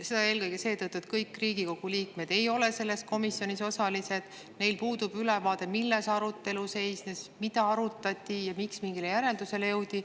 Seda eelkõige seetõttu, et kõik Riigikogu liikmed ei ole selles komisjonis osalised, neil puudub ülevaade, milles arutelu seisnes, mida arutati ja miks mingile järeldusele jõuti.